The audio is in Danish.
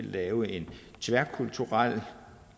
lave en tværkulturel